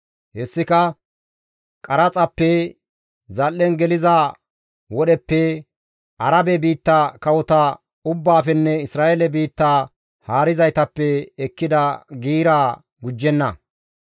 Hessika qaraxappe, zal7en geliza wodheppe, Arabe biitta kawota ubbaafenne Isra7eele biittaa haarizaytappe ekkida giiraa gujjenna.